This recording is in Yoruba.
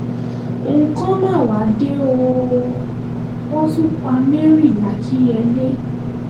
nǹkan mà wàá dé o o wọ́n tún pa mary làkínyẹlé